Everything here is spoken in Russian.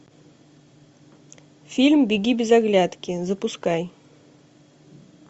фильм беги без оглядки запускай